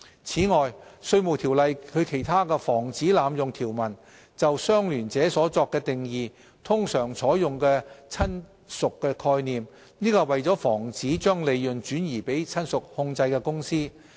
此外，《稅務條例》中的其他防止濫用條文通常採用"親屬"的概念就"相聯者"作定義，這是為了防止將利潤轉移給親屬控制的公司。